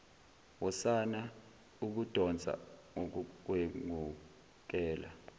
wosana ukudonsa ngokugwengukela